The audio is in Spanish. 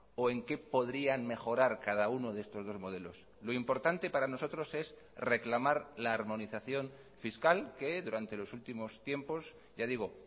o en qué podrían mejorar cada uno de estos dos modelos lo importante para nosotros es reclamar la armonización fiscal que durante los últimos tiempos ya digo